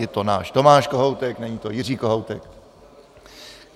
Je to náš Tomáš Kohoutek, není to Jiří Kohoutek.